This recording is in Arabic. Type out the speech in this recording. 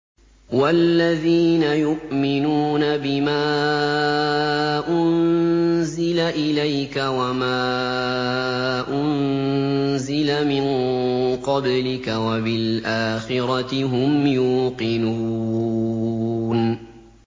وَالَّذِينَ يُؤْمِنُونَ بِمَا أُنزِلَ إِلَيْكَ وَمَا أُنزِلَ مِن قَبْلِكَ وَبِالْآخِرَةِ هُمْ يُوقِنُونَ